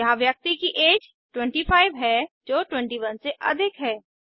यहाँ व्यक्ति की ऐज 25 है जो 21 से अधिक है